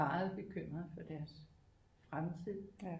Meget bekymret for deres fremtid